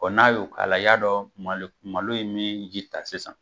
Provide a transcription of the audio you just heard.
n'a y'o k'a la, i y'a dɔn malo malo ye min ji ta sisan.